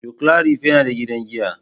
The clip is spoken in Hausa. Joclarif yana da gidan giya.